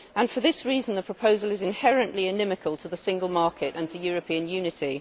For this reason, the proposal is inherently inimical to the single market and to European unity.